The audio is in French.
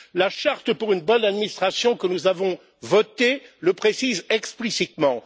La charte pour une bonne administration, que nous avons votée, le précise explicitement.